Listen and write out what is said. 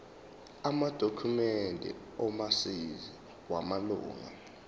amadokhumende omazisi wamalunga